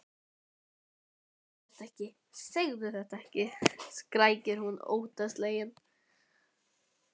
Ó, segðu þetta ekki, segðu þetta ekki, skrækir hún óttaslegin.